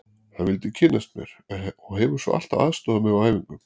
Hann vildi kynnast mér og hefur svo alltaf aðstoðað mig á æfingum.